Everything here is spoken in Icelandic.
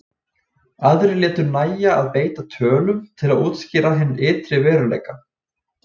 Aðrir létu nægja að beita tölum til að útskýra hinn ytri veruleika.